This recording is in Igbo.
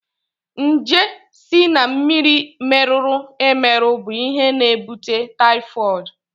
Njé si na mmiri merụrụ emerụ bụ ihe na-ebute taịfọd.